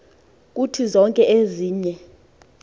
kuthi zonke ezinye